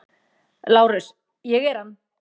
LÁRUS: Ég er hann.